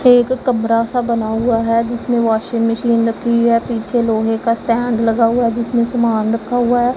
एक कमरा सा बना हुआ है जिसमें वाशिंग मशीन रखी है पीछे लोहे का स्टैंड लगा हुआ है जिसमें सामान रखा हुआ--